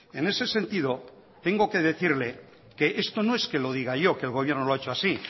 en ese sentido tengo que decirle que esto no es que lo diga yo que el gobierno lo ha hecho así